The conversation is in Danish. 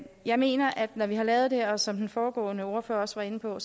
jeg mener at når vi har lavet det her som den foregående ordfører også var inde på